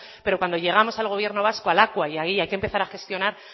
pero cuando llegamos al gobierno vasco a lakua y allí hay que empezar a gestionar